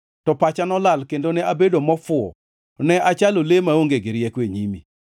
to pacha nolal kendo ne abedo mofuwo, ne achalo le maonge rieko e nyimi.